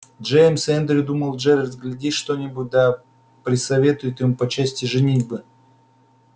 джеймс и эндрю думал джералд глядишь что-нибудь да присоветуют ему по части женитьбы